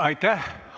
Aitäh!